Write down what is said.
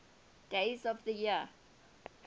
days of the year